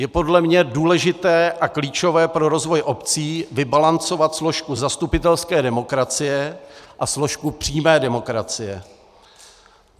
Je podle mě důležité a klíčové pro rozvoj obcí vybalancovat složku zastupitelské demokracie a složku přímé demokracie.